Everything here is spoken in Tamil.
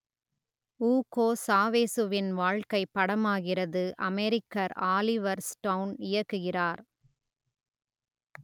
ஊகோ சாவேசுவின் வாழ்க்கை படமாகிறது அமெரிக்கர் ஆலிவர் ஸ்டோன் இயக்குகிறார்